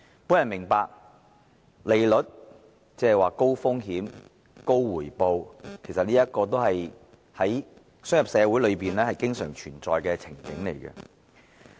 我明白高利率，即高風險、高回報，是商業社會中經常存在的情景。